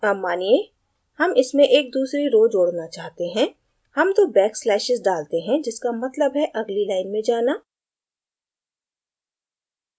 add मानिए हम इसमें एक दूसरी row जोड़ना चाहते हैं हम दो back slashes डालते हैं जिसका मतलब है अगली line में जाना